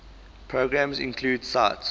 programs include sight